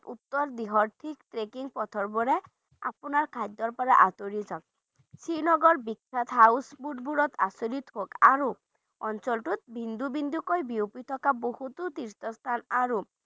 উত্তৰ বৃহৎ ঠিক trekking পথৰ পৰা আপোনাৰ খাদ্যৰ পৰা আঁতৰি চাওক শ্ৰীনগৰ বিখ্যাত house food বোৰত আচৰিত সুখ আৰু অঞ্চলটোত বিন্দু বিন্দুকৈ বিয়পি থকা বহুতো তীৰ্থস্থান আৰু